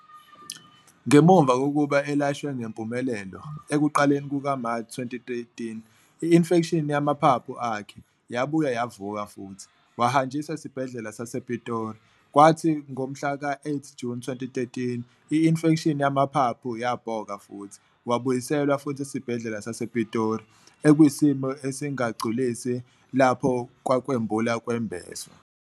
Ngemuva kokuba elashwe ngempumelelo, ekuqaleni kuka-March 2013, i-infection yamaphaphu akhe, yabuye yavuka futhi, wahanjiswa esibhedlela sasePitori. Kwathi ngomhla ka 8 June 2013, i-infection yamaphaphu, yabhoka futhi, wabuyeselwa futhi esibhedlela sasePitori, ekwisimo esingagculisi lapho kwakwembulwa-kwembeswa.